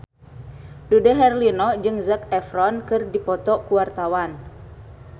Dude Herlino jeung Zac Efron keur dipoto ku wartawan